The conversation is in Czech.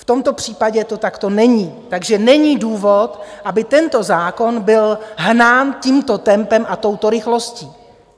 V tomto případě to takto není, takže není důvod, aby tento zákon byl hnán tímto tempem a touto rychlostí.